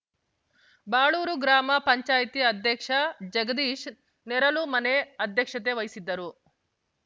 ಬಾಳೂರು ಗ್ರಾಮ ಪಂಚಾಯಿತಿ ಅಧ್ಯಕ್ಷ ಜಗದೀಶ್‌ ನೇರಲುಮನೆ ಅಧ್ಯಕ್ಷತೆ ವಹಿಸಿದ್ದರು